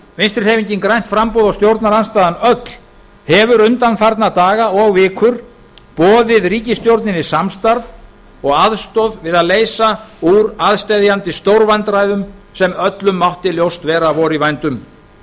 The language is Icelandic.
vinstri hreyfingin grænt framboð og stjórnarandstaðan öll hefur undanfarna daga og vikur boðið ríkisstjórninni samstarf og aðstoð við að leysa úr aðsteðjandi stórvandræðum sem öllum mátti ljóst vera að væru í vændum